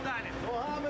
Nəyə lazımdır?